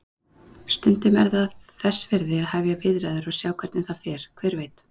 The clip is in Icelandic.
Stundum er þess virði að hefja viðræður og sjá hvernig það fer, hver veit?